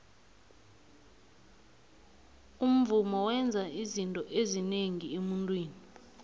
umvumo wenza izinto ezinengi emuntwini